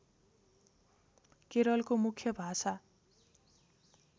केरलको मुख्य भाषा